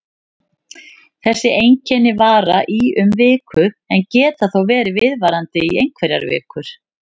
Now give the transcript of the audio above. Þessi einkenni vara í um viku en geta þó verið viðvarandi í einhverjar vikur.